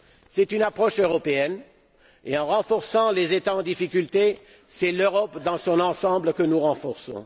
C'est une approche européenne et, en renforçant les États en difficulté, c'est l'Europe, dans son ensemble, que nous renforçons.